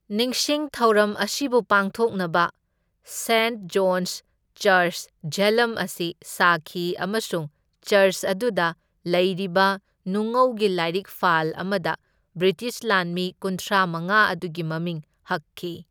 ꯅꯤꯡꯁꯤꯡ ꯊꯧꯔꯝ ꯑꯁꯤꯕꯨ ꯄꯥꯡꯊꯣꯛꯅꯕ ꯁꯦꯟꯠ ꯖꯣꯟꯁ ꯆꯔꯆ ꯓꯦꯂꯝ ꯑꯁꯤ ꯁꯥꯈꯤ ꯑꯃꯁꯨꯡ ꯆꯔꯆ ꯑꯗꯨꯗ ꯂꯩꯔꯤꯕ ꯅꯨꯡꯉꯧꯒꯤ ꯂꯥꯏꯔꯤꯛꯐꯥꯜ ꯑꯃꯗ ꯕ꯭ꯔꯤꯇꯤꯁ ꯂꯥꯟꯃꯤ ꯀꯨꯟꯊ꯭ꯔꯥꯃꯉꯥ ꯑꯗꯨꯒꯤ ꯃꯃꯤꯡ ꯍꯛꯈꯤ꯫